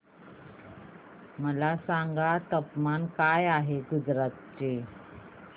मला सांगा तापमान काय आहे गुजरात चे